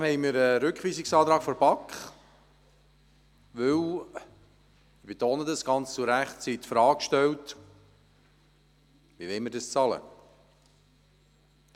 Trotzdem liegt ein Rückweisungsantrag der BaK vor, und zwar, weil diese ganz zu Recht – ich betone: ganz zu Recht – die Frage stellt, wie das bezahlt werden soll.